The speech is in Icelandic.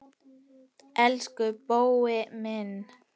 Elsku Bói minn.